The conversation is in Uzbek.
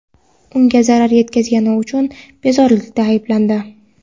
unga zarar yetkazgani uchun bezorilikda ayblandi.